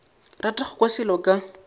rata go kwa selo ka